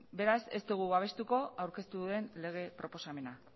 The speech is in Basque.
beraz ez dugu babestuko aurkeztu duen lege proposamena